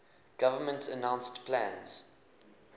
government announced plans